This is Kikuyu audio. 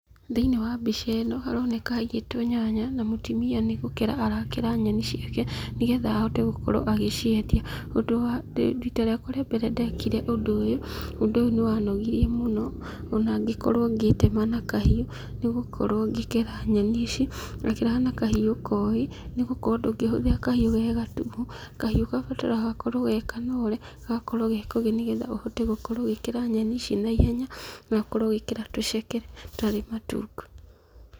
Thĩiniĩ wa mbica ĩno, haroneka haigĩtwo nyanya, na mũtimia nĩ gũkũra arakera nyeni ciake, nĩgetha ahote gũkorwo agĩciendia. Ũndũ wa, rita rĩakwa rĩa mbere ndekire ũndũ ũyũ, ũndũ ũyũ nĩ wanogirie mũno, ona ngĩkorwo ngĩĩtema na kahiũ, nĩgũkorwo ngĩkera nyeni ici, ndakeraga na kahiũ kogĩ, nĩgũkorwo ndũngĩhũthĩra kahiũ ge gatuhu, kahiũ gabataraga gũkorwo ge kanore, gakorwo ge kogĩ nĩgetha ahote gũkorwo ũgĩkera nyeni ici na ihenya, na ũkorwo ũgĩkera tũceke, tũtarĩ matungu.